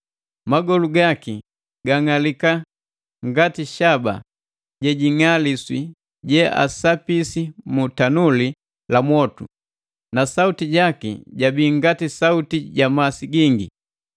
magolu gaki gang'aliki ngati shaba jejing'aliswi jeasapisi mu tanuli la mwotu, na sauti jaki jabii ngati sauti ja masi gingi.